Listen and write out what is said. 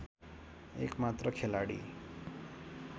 एक मात्र खेलाडी